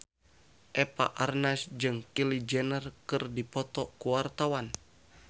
Eva Arnaz jeung Kylie Jenner keur dipoto ku wartawan